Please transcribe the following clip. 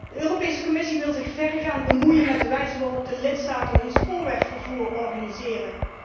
De Europese Commissie wil zich verregaand bemoeien met de wijze waarop de lidstaten hun spoorwegvervoer organiseren.